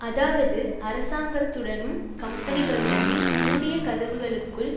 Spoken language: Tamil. அதாவது அரசாங்கத்துடனும் கம்பனிகளுடனும் மூடிய கதவுகளுக்குள்